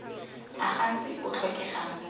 a gantsi a tlhokegang mo